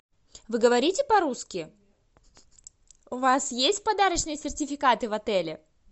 вы говорите по русски у вас есть подарочные сертификаты в отеле